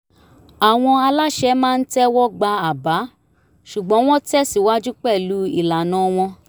àwọn aláṣẹ maa ń tẹ̀wọ́ gba àbá ṣùgbọ́n wọ́n tẹ̀síwájú pẹ̀lú ìlànà wọn